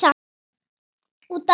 Út af.